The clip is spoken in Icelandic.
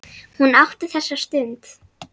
Hún átti þessa stund.